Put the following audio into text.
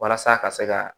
Walasa ka se ka